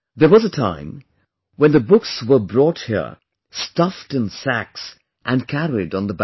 There was a time when the books were brought here stuffed in sacks and carried on the back